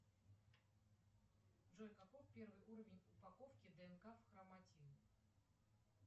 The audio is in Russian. джой каков первый уровень упаковки днк в хроматин